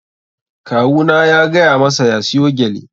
Kawu na ya gaya masa ya siyo gyale.